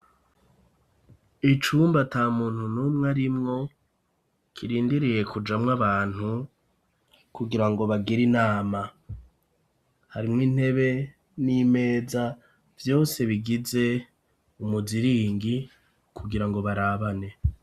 Icumba ata muntu n'umwa rimwo ,kirindiriye kujamw 'abantu ,kugira ngo bagir' inama, harimwo intebe n'imeza, vyose bigize umuziringi kugira ngo barabane.